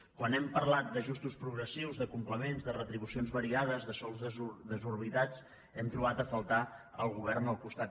quan hem parlat d’ajustos progressius de complements de retribucions variades de sous desor·bitats hem trobat a faltar el govern al costat